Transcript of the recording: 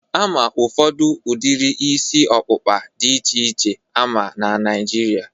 Ama ụfọdụ udiri isi ọkpụkpa a dị iche iche ama na Naịjirịa